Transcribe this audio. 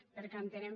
perquè entenem